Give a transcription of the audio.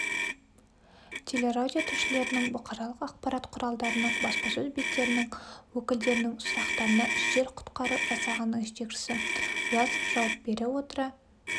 теле-радио тілшілерінің бұқаралық ақпарат құралдарының баспасөз беттерінің өкілдерінің сұрақтарына жедел-құтқару жасағының жетекшісі власов жауап бере отыра